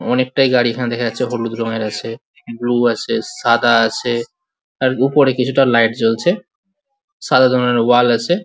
অনেকটাই গাড়ি আছে হলুদ রঙের আছে ব্লু আছে সাদা আছে আর উপরে কিছুটা লাইট জ্বলছে সাদা ধরনের ওয়াল আছে।